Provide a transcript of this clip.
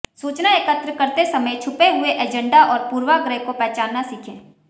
सूचना एकत्र करते समय छुपे हुए एजेंडा और पूर्वाग्रह को पहचानना सीखें